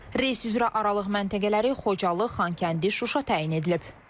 Reys üzrə aralıq məntəqələri Xocalı, Xankəndi, Şuşa təyin edilib.